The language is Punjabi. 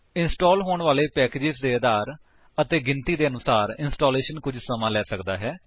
ਇੰਸਟਾਲ ਹੋਣ ਵਾਲੇ ਪੈਕੇਜਸ ਦੇ ਆਕਾਰ ਅਤੇ ਗਿਣਤੀ ਦੇ ਅਨੂਸਾਰ ਇੰਸਟਾਲੇਸ਼ਨ ਕੁੱਝ ਸਮਾਂ ਲੈ ਸਕਦਾ ਹੈ